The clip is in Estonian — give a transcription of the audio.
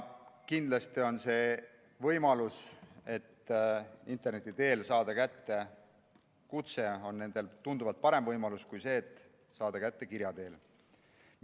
Kindlasti on võimalus saada interneti teel kutse kätte neile tunduvalt parem kui see, et saada see kätte kirja teel.